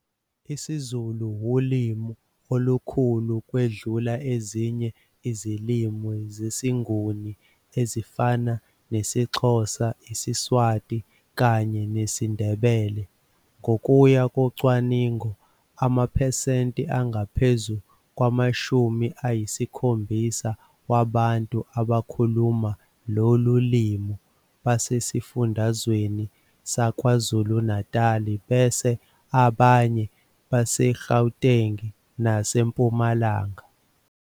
IsiZulu wulimi olukhulu ukwedlula ezinye izilimi zesiNguni ezifana nesiXhosa, isiSwati kanye nesiNdebele. Ngokuya ngocwaningo amaphesenti angaphezu kwamashumi ayisikhombisa, wabantu abakhuluma lolu limi basesifundazweni saKwaZulu-Natal, bese abanye baseGauteng naseMpumalanga.